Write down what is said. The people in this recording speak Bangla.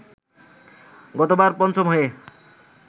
গতবার পঞ্চম হয়ে